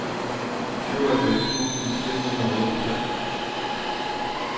syvoghalvfjerds tusind fire hundrede og otteogtres